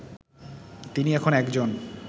তিনি এখন একজন